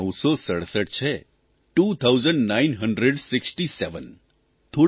two thousand nine hundred sixty seven